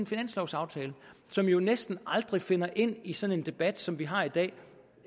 finanslovaftale som jo næsten aldrig finder ind i sådan en debat som vi har i dag